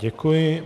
Děkuji.